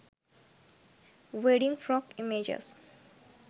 wedding frock images